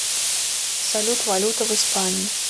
салют валюта в испании